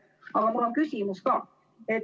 Aga mul on küsimus ka.